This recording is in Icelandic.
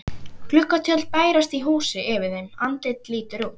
Gluggatjöld bærast í húsi yfir þeim, andlit lítur út.